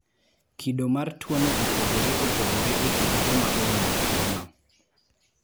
Kido mar tuono opogore opogore e kind joma oyudo tuono.